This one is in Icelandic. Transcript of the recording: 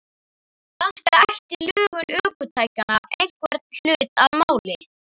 Kannski ætti lögun ökutækjanna einhvern hlut að máli.